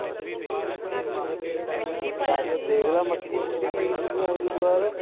ਚੱਲ ਦੇਖਲਾ ਮੱਕੀ ਵੀ ਬਿਜਲੀ ਅਗਲੀ ਵਾਰ